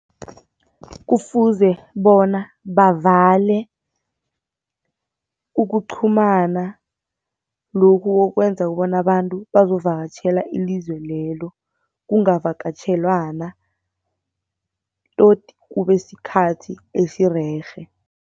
Kufuze bona bavale ukuqhumana lokhu kokwenza bona abantu bazovakatjhela ilizwe lelo, kungavakatjhelwana tot kube sikhathi esirerhe.